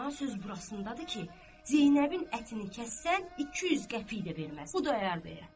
Amma söz burasındadır ki, Zeynəbin ətini kəssən 200 qəpik də verməz Xudayar bəyə.